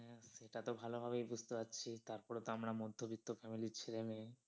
হ্যাঁ সেটা তো ভালো ভাবেই বুঝতে পারছি তারপর তো আমরা মধ্যবিত্ত family র ছেলে মেয়ে।